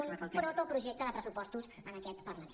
un protoprojecte de pressupostos en aquest parlament